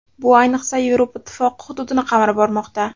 Bu, ayniqsa, Yevropa Ittifoqi hududini qamrab bormoqda.